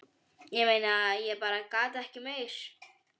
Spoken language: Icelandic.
Ég meina. ég bara gat ekki meir.